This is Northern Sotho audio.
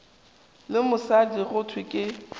le mosadi go thwe ke